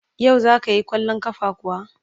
Yau za ka yi kwallon kafa kuwa?